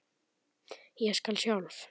Ég skal sjálf.